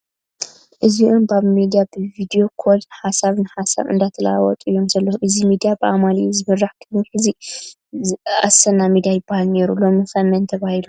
እዚኦም ባብ ሚድያ ብ ቪድዮ ኮል ሓሰብ ንሓሳብ እንዳተለዋወጡ እዮም ዘለዉ ፡ እዚ ሚድያ ብኣማኒኤል ዝምራሕ ቕድሚ ሕዚ ኣሰና ሚድያ ይበሃል ነይሩ ሎሚ'ኸ መን ተባሂሉ ?